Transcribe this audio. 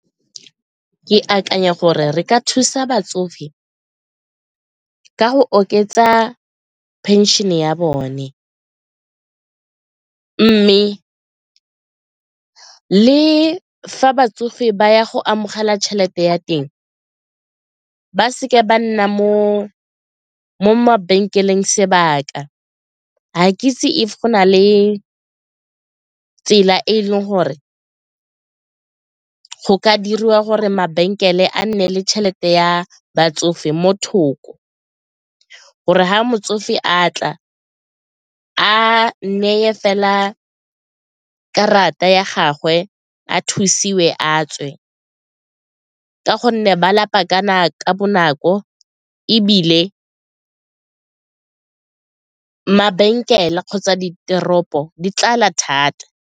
Ke akanya gore re ka thusa batsofe ka go oketsa phenšene ya bone mme le fa batsofe ba ya go amogela tšhelete ya teng ba seke ba nna mo mabenkeleng sebaka, ga ke itse if go na le tsela e e leng gore go ka diriwa gore mabenkele a nne le tšhelete ya batsofe mo thoko gore ga motsofe a tla a neye fela karata ya gagwe a thusiwe a tswe ka gonne ba lapa ka bonako ebile mabenkele kgotsa diteropo di tlala thata.